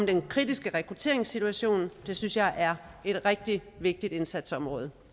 den kritiske rekrutteringssituation det synes jeg er et rigtig vigtigt indsatsområde